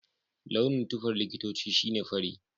Launin tufar likitoci shi ne fari.